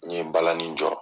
N ye balani jɔ